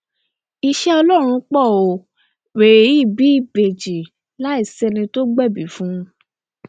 iṣẹ ọlọrun pọ ó wẹrẹ yìí bí ìbejì láì sẹni tó gbẹbí fún un